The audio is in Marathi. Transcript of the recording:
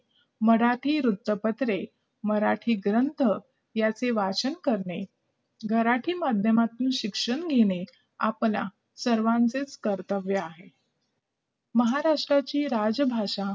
मराठी वृत्तपत्रे, मराठी ग्रंथ याचे वाचन करणे मराठी माध्यमातून शिक्षण घेणे आपल्या सर्वांचे कर्तव्य आहे महाराष्ट्राचे राज्यभाषा